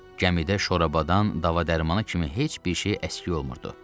Gəmidə şorabdan, dava-dərmanı kimi heç bir şey əskik olmurdu.